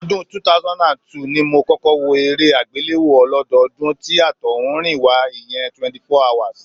Ọdún 2002 ni mo kọ́kọ́ wo eré àgbéléwò ọlódọọdún tí àtọ̀húnrìnwá, ìyẹn 24hrs